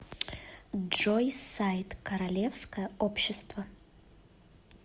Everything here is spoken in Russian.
джой сайт королевское общество